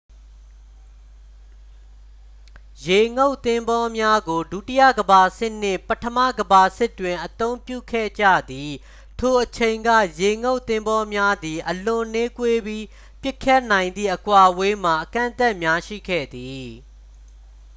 ရေငုပ်သင်္ဘောများကို ဒုတိယကမ္ဘာစစ်နှင့် ပထမကမ္ဘာစစ်တွင် အသုံးပြုခဲ့ကြသည် ထိုအချိန်က ရေငုပ်သင်္ဘောများသည် အလွန်နှေးကွေးပြီး ပစ်ခတ်နိုင်သည့် အကွာအဝေးမှာ အကန့်အသတ်များရှိခဲ့သည်